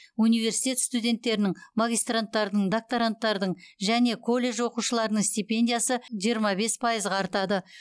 университет студенттерінің магистранттардың докторанттардың және колледж оқушыларының стипендиясы жиырма бес пайызға артады